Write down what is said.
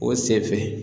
O sen fɛ